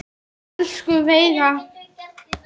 Elsku Veiga.